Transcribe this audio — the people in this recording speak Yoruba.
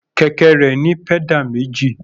Kẹ̀kẹ́ rẹ̀ ní pẹ́dà méjì.